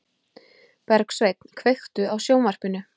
Bergsveinn, kveiktu á sjónvarpinu.